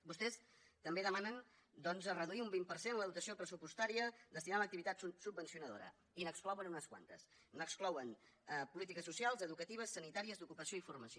vostès també demanen doncs reduir un vint per cent la dotació pressupostària destinada a l’activitat subvencionadora i n’exclouen unes quantes n’exclouen polítiques socials educatives sanitàries d’ocupació i formació